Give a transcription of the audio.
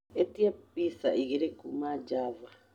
ĩtĩa pizza igĩrĩ kuuma Java